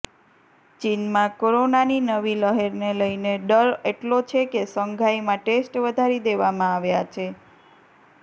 ચીનમાં કોરોનાની નવી લહેરને લઈને ડર એટલો છે કે શંઘાઈમાં ટેસ્ટ વધારી દેવામાં આવ્યા છે